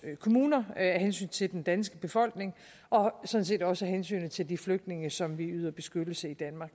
kommuner af hensyn til den danske befolkning og sådan set også af hensyn til de flygtninge som vi yder beskyttelse i danmark